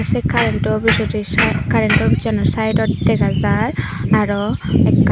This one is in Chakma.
sei karento pijedi sa karento obizsano saidot dega jar aro ekkan.